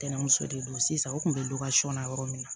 Tɛnɛnmuso de don sisan o kun bɛ na yɔrɔ min na